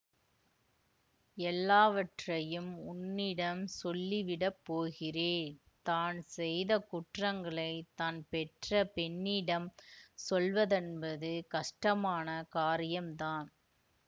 எல்லாவற்றையும் உன்னிடம் சொல்லிவிடப் போகிறேன் தான் செய்த குற்றங்களை தான் பெற்ற பெண்ணிடம் சொல்லுவதென்பது கஷ்டமான காரியம் தான்